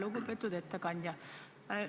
Lugupeetud ettekandja!